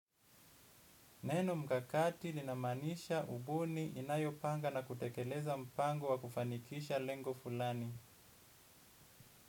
Neno mkakati linamaanisha ubuni inayopanga na kutekeleza mpango wa kufanikisha lengo fulani.